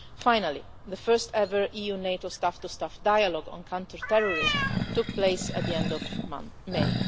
Finally, the first ever EU-NATO staff to staff dialogue on counterterrorism took place at the end of May.